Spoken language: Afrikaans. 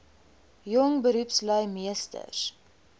jong beroepslui meesters